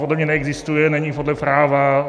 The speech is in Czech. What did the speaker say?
Podle mě neexistuje, není podle práva.